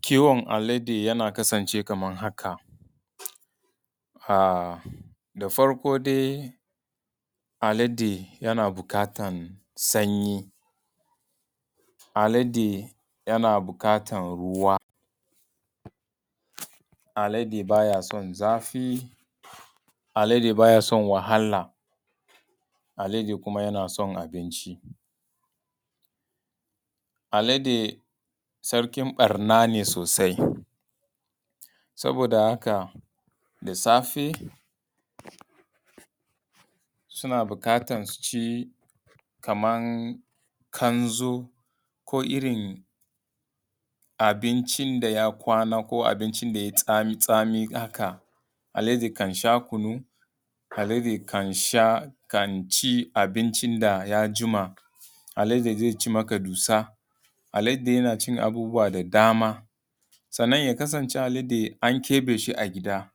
Kiwon alade yana kasancewa kamar haka. Da farko dai alade yana buƙatan sanyi. Alade yana buƙatan ruwa. Alade baya son zafi. Alade baya son wahala. Alade kuma yana son abinci. Alade sarkin ɓarna ne sosai, saboda haka da safe suna bukatan su ci kamar ƙanzo ko irin abinci da ya kwana ko abinci da ya yi tsami tsaami haka. Alade kan sha kunu, aladai kan sha, kan ci abinci da ya jima, alade zai ci maka dusa, alade yana cin abubuwa da dama. Sannan ya kasance alade an keɓe shi a gida,